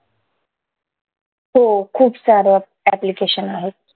हो खूप सारं application आहे